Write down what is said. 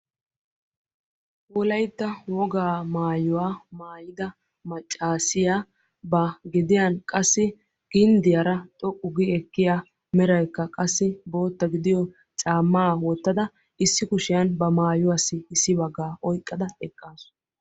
wolaytta wogaa maayuwa maayida macaassiya ba gediyankka qassi ginddiyaara xoqqu gi ekkiya meraykka qassi bootta gidiyo oyqqada issi kushiyankka qassi ba maayuwa oyqqa utaasu.